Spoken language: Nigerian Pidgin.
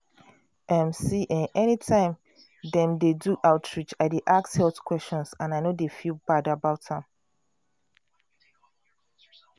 um see eh anytime dem dey do outreach i dy ask health questions and i no dey feel bad about am.